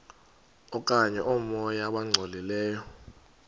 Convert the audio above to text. okanye oomoya abangcolileyo